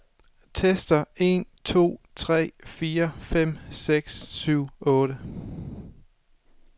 Tester en to tre fire fem seks syv otte.